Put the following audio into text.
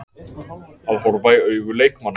Að horfa í augu leikmanna